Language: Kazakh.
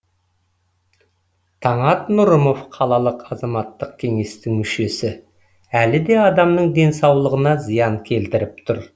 таңат нұрымов қалалық азаматтық кеңестің мүшесі әлі де адамның денсаулығына зиян келтіріп тұр